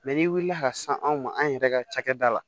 n'i wulila ka se anw ma an yɛrɛ ka cakɛda la